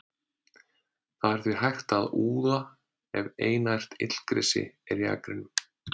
Það er því hægt að úða ef einært illgresi er í akrinum.